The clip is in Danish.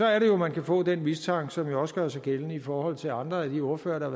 er det jo man kan få den mistanke som også gør sig gældende i forhold til andre af de ordførere der